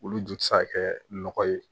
Olu ju tɛ se ka kɛ nɔgɔ ye